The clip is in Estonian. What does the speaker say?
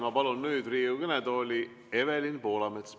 Ma palun nüüd Riigikogu kõnetooli Evelin Poolametsa.